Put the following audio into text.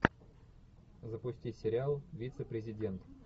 запусти сериал вице президент